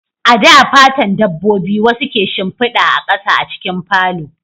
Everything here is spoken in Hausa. A da, fatan dabbobi wasu ke shimfida a ƙasa a cikin falo